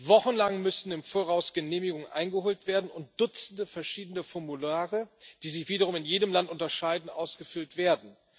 Wochenlang im Voraus müssen Genehmigungen eingeholt werden und Dutzende verschiedene Formulare, die sich wiederum in jedem Land unterscheiden, ausgefüllt werden.